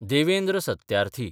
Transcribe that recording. Devendra Satyarthi